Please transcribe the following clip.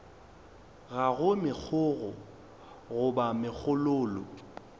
ga go megokgo goba megololo